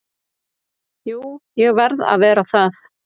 Jú, ég verð að vera það.